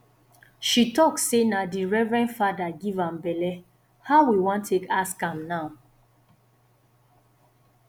she talk sey na di reverend fada give am belle how we wan take ask am now